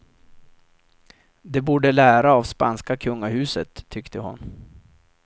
De borde lära av spanska kungahuset, tyckte hon.